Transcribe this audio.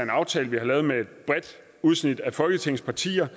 aftale vi har lavet med et bredt udsnit af folketingets partier